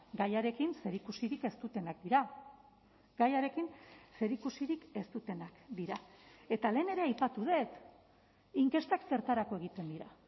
gaiarekin zerikusirik ez dutenak dira gaiarekin zerikusirik ez dutenak dira eta lehen ere aipatu dut inkestak zertarako egiten dira